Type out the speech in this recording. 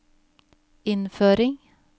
innføring